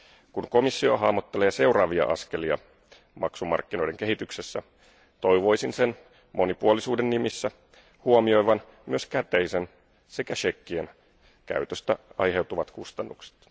Kun komissio hahmottelee seuraavia askelia maksumarkkinoiden kehityksessä, toivoisin sen monipuolisuuden nimissä huomioivan myös käteisen sekä shekkien käytöstä aiheutuvat kustannukset.